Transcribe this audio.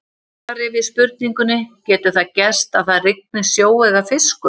Í svari við spurningunni Getur það gerst að það rigni sjó eða fiskum?